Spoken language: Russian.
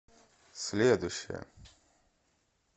следующая